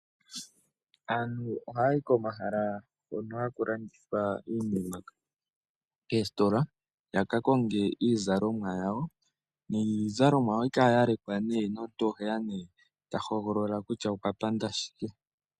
Aantu ohaya yi komahala hoka haku landithwa iinima, koositola yaka konge iizalomwa yawo, niizalomwa yawo ohayi kala nduno yalekwa , ye omuntu teya nduno ta hogolola kutya okwa panda shike.